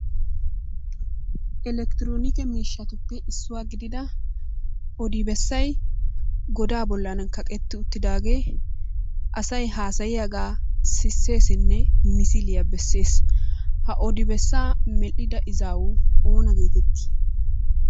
Elekitronike miishshatuppe issuwa gidida odi bessay goda bollan kaqqetti uttidaage asay haassayiyaaga sissesinne misiliya beesses. Ha odi bessaa medhdhida izawu oona getetti?